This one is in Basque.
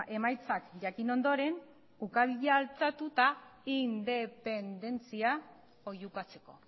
emaitzak jakin ondoren ukabila altxatu eta independentzia oihukatzeko